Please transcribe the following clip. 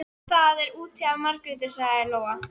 Það er út af Margréti, sagði Lóa.